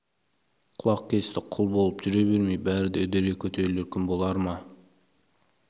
құлақ кесті құл болып жүре бермей бәрі де үдере көтерілер күн болар ма